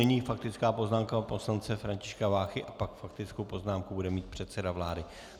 Nyní faktická poznámka pana poslance Františka Váchy a pak faktickou poznámku bude mít předseda vlády.